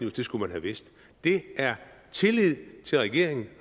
at det skulle man have vidst det er tillid til regeringen og